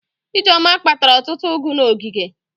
Ijeoma kpatara ọtụtụ ụgụ n'ogige.